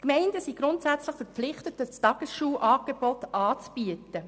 Die Gemeinden sind grundsätzlich verpflichtet, ein Tagesschulangebot anzubieten.